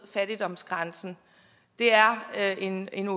fattigdomsgrænsen det er en en